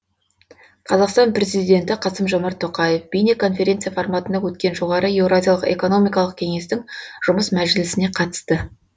қазақстан президенті қасым жомарт тоқаев бейнеконференция форматында өткен жоғары еуразиялық экономикалық кеңестің жұмыс мәжілісіне қатысты